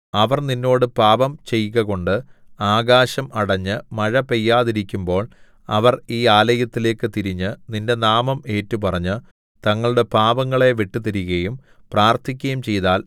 അവർ നിന്നോട് പാപം ചെയ്കകൊണ്ട് ആകാശം അടഞ്ഞ് മഴ പെയ്യാതിരിക്കുമ്പോൾ അവർ ഈ ആലയത്തിലേക്ക് തിരിഞ്ഞ് നിന്റെ നാമം ഏറ്റുപറഞ്ഞ് തങ്ങളുടെ പാപങ്ങളെ വിട്ടുതിരികയും പ്രാർത്ഥിക്കയും ചെയ്താൽ